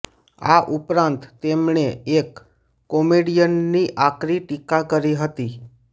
આ ઉપરાંત તેમણે એક કોમેડિયનની આકરી ટીકા કરી હતી